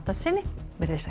sinni veriði sæl